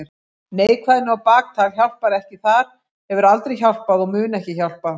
Neikvæðni og baktal hjálpar ekki þar, hefur aldrei hjálpað og mun ekki hjálpa.